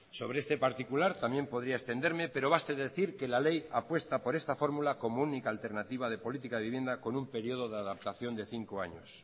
sobre este particular también podría extenderme pero basta decir que la ley apuesta por esta fórmula como única alternativa de política de vivienda con un periodo de adaptación de cinco años